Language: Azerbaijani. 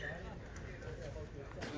Bəs sən dedin ki, mənim adımdan elədir.